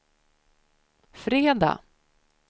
fredag